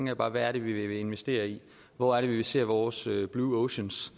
jeg bare hvad er det vi vil investere i hvor er det vi ser vores blue oceans